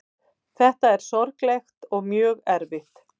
Þetta er sorglegt og mjög erfitt